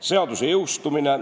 Seaduse jõustumine.